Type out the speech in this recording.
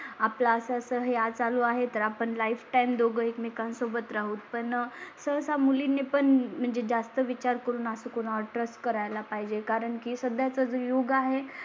आपलं असं असं चालू आहे तर आपण लाइफ टाइम दोघे एकमेकां सोबत राहू. पण सह सा मुली ने पण म्हणजे ज्या चा विचार करून असं कोणा ट्रस्ट करायला पाहिजे. कारण की सध्या चा जो योग आहे.